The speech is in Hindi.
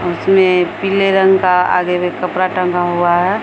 उसमे पीले रंग का आगे में कपड़ा टंगा हुआ है।